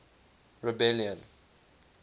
rebellion